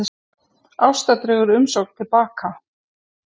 Ásta dregur umsókn til baka